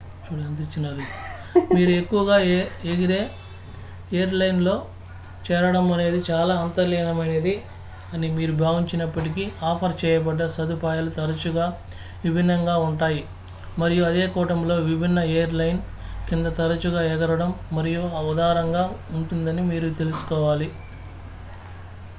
మీరు ఎక్కువగా ఎగరేఎయిర్ లైన్ లో చేరడం అనేది చాలా అంతర్లీనమైనది అని మీరు భావించినప్పటికీ ఆఫర్ చేయబడ్డ సదుపాయాలు తరచుగా విభిన్నంగా ఉంటాయి మరియు అదే కూటమిలో విభిన్న ఎయిర్ లైన్ కింద తరచుగా ఎగరడం మరింత ఉదారంగా ఉంటుందని మీరు తెలుసుకోవాలి